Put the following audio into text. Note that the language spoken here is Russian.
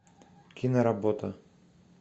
киноработа